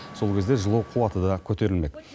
сол кезде жылу қуаты да көтерілмек